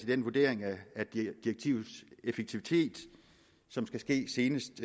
den vurdering af direktivets effektivitet som skal ske senest